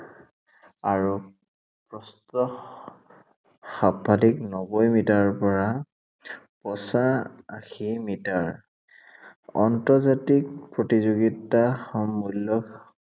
আৰু প্ৰস্থ সৰ্বাধিক নব্বৈ মিটাৰৰ পৰা পঁচাশী মিটাৰ। আন্তৰ্জাতিক প্ৰতিযোগিতাৰ সমূলক